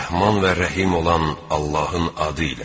Rəhman və Rəhim olan Allahın adı ilə.